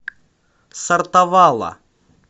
сортавала